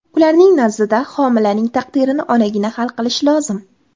Ularning nazdida, homilaning taqdirini onagina hal qilishi lozim.